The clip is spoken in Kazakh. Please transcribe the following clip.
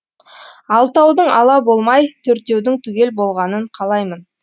алтаудың ала болмай төртеудің түгел болғанын қалаймын